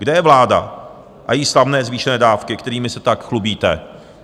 Kde je vláda a její slavné zvýšené dávky, kterými se tak chlubíte?